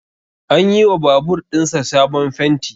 An yi wa babur ɗin sa sabon fenti